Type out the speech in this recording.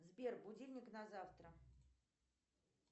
сбер будильник на завтра